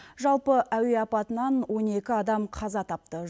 жалпы әуе апатынан он екі адам қаза тапты